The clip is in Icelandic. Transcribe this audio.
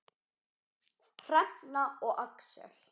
Hrefna og Axel.